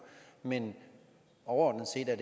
men overordnet set er